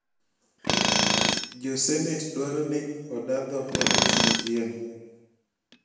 Jo senet dwaro ni oda dho Felix Otieno